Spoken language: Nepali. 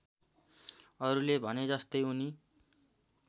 अरूले भनेजस्तै उनी